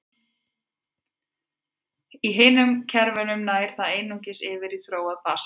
Í hinum kerfunum nær það einungis yfir í þróað basalt.